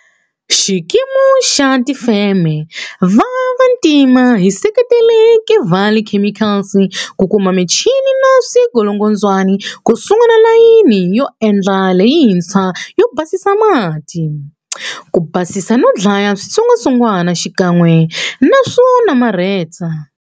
Xikimu xa Van'watifeme va Vantima xi seketele Kevali Chemicals ku kuma michini na swingolongondzwani ku sungula layini yo endla leyintshwa yo basisa mati, ku basisa no dlaya switsongwatsongwana xikan'we na swo namarheta.